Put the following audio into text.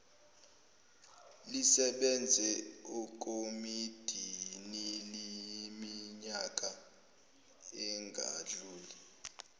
lisebenze ekomidiniiminyaka engadluli